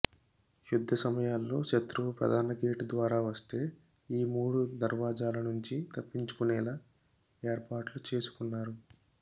యుద్ధ సమయాల్లో శత్రువు ప్రధాన గేటు ద్వారా వస్తే ఈ మూడు దర్వాజాల నుంచి తప్పించుకునేలా ఏర్పాట్లు చేసుకున్నారు